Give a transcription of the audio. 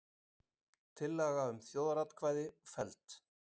Tillaga um þjóðaratkvæði felld